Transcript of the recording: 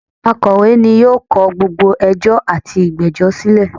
Akọ̀wé ni yóò kọ gbogbo ẹjọ́ àti ìgbẹ́jọ́ silẹ̀